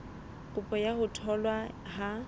kopo ya ho tholwa ha